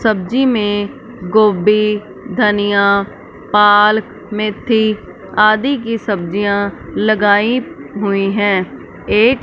सब्जी में गोबी धनिया पालक मेथी आदि की सब्जियां लगाई हुई है एक--